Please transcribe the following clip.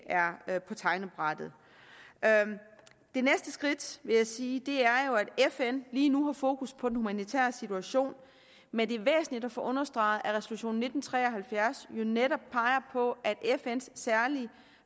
er på tegnebrættet det næste skridt er vil jeg sige at fn lige nu har fokus på den humanitære situation men det er væsentligt at få understreget at resolution nitten tre og halvfjerds jo netop peger på at fns særlige